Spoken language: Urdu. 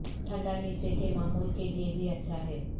ٹھنڈا نیچے کے معمول کے لئے بھی اچھا ہے